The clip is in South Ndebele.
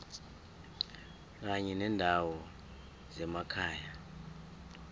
kanye nendawo zemakhaya